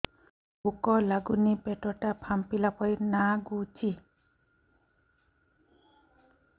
ଭୁକ ଲାଗୁନି ପେଟ ଟା ଫାମ୍ପିଲା ପରି ନାଗୁଚି